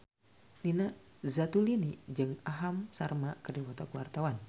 Nina Zatulini jeung Aham Sharma keur dipoto ku wartawan